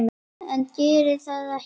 En ég geri það ekki.